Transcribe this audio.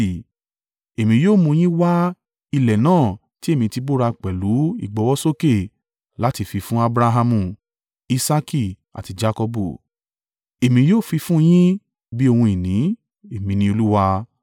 Èmi yóò mú un yín wá ilẹ̀ náà ti èmi ti búra pẹ̀lú ìgbọ́wọ́sókè láti fi fún Abrahamu. Isaaki àti Jakọbu. Èmi yóò fi fún un yín bí ohun ìní, Èmi ni Olúwa.’ ”